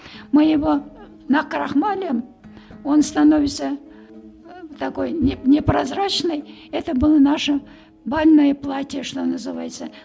мы его накрахмалим он становится такой не не прозрачной это было наша бальные платья что называется